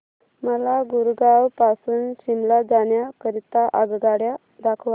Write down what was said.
मला गुरगाव पासून शिमला जाण्या करीता आगगाड्या दाखवा